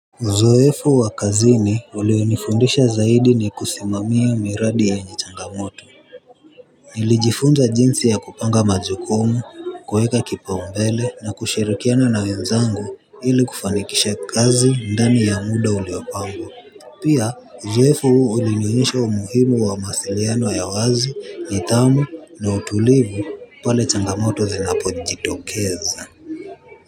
Uzoefo wa kazini ulionifundisha zaidi ni kusimamia miradi yenye changamoto. Nilijifunza jinsi ya kupanga majukumu kuweka kipaumbele na kushirikiana na wenzangu ili kufanikisha kazi ndani ya muda uliopangwa. Pia uzoefo huu ulinionyesha umuhimu wa mawasiliano ya wazi, nidhamu na utulivu pale changamoto zinapo jitokeza.